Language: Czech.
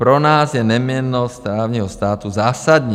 Pro nás je neměnnost právního státu zásadní.